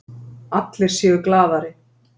Allir séu glaðari.